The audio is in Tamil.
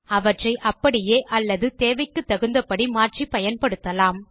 அவற்றை அப்படியே அல்லது தேவைக்கு தகுந்தபடி மாற்றி பயன்படுத்தலாம்